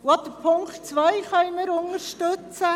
Auch die Ziffer 2 können wir unterstützen.